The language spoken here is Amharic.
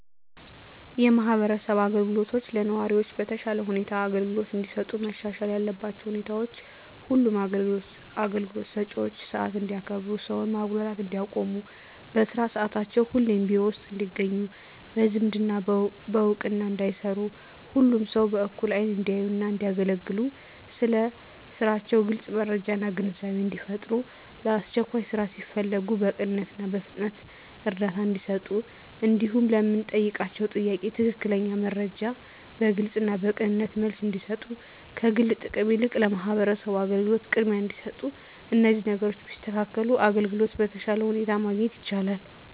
የማህበረሰብ አገልግሎቶች ለነዋሪዎች በተሻለ ሁኔታ አገልግሎት እንዲሰጡ መሻሻል ያለባቸው ሁኔታዎች ሁሉም አገልግሎት ሰጭዎች ሰዓት እንዲያከብሩ ሰውን ማጉላላት እንዲያቆሙ በስራ ሰዓታቸው ሁሌም ቢሮ ውስጥ እንዲገኙ በዝምድና በእውቅና እንዳይሰሩ ሁሉንም ሰው በእኩል አይን እንዲያዩና እንዲያገለግሉ ስለ ስራቸው ግልጽ መረጃና ግንዛቤን እንዲፈጥሩ ለአስቸኳይ ስራ ሲፈለጉ በቅንነትና በፍጥነት እርዳታ እንዲሰጡ እንዲሁም ለምንጠይቃቸው ጥያቄ ትክክለኛ መረጃ በግልጽና በቅንነት መልስ እንዲሰጡ ከግል ጥቅም ይልቅ ለማህበረሰቡ አገልግሎት ቅድሚያ እንዲሰጡ እነዚህን ነገሮች ቢያስተካክሉ አገልግሎት በተሻለ ሁኔታ ማግኘት ይቻላል።